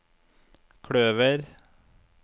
kløver